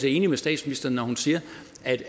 enig med statsministeren når hun siger